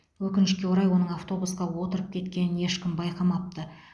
өкінішке орай оның автобусқа отырып кеткенін ешкім байқамапты